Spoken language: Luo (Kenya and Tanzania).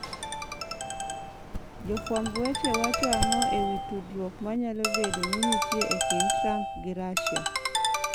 Jofwamb weche wacho ang'o e wi tudruok ma nyalo bedo ni nitie e kind Trump gi Russia?